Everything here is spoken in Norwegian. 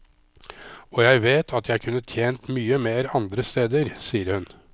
Og jeg vet at jeg kunne tjent mye mer andre steder, sier hun.